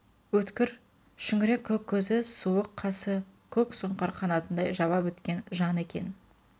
өткір шүңірек көк көзі суық қасы көк сұңқар қанатындай жаба біткен жан екен